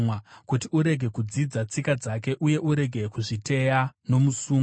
kuti urege kudzidza tsika dzake, uye urege kuzviteya nomusungo.